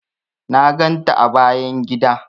Na ganta a bayan gida.